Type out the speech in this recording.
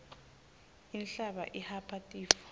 inhlaba ihapha tifo